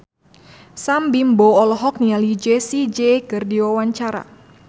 Sam Bimbo olohok ningali Jessie J keur diwawancara